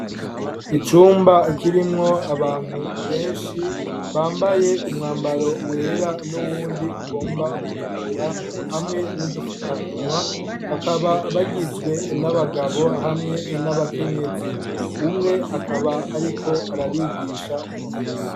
Icumba kirimwo abantu benshi bambaye umwambaro wera n'uwundi ugomba gutukura hamwe n'udupfukamunwa, bakaba bagizwe n'abagabo hamwe n'abakenyezi. Umwe akaba ariko arabigisha kuvura.